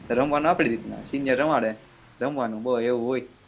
રમવાનું આપની રીતના સિયરો રમાડે